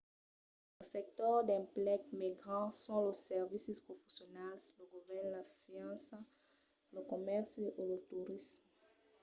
los sectors d'emplec mai grands son los servicis professionals lo govèrn la finança lo comèrci e lo torisme